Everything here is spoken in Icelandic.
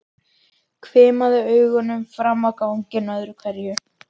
Hvimaði augunum fram á ganginn öðru hverju.